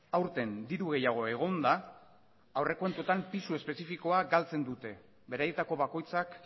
hezkuntza aurten diru gehiago egonda aurrekontuetan pisu espezifikoa galtzen dute beraietako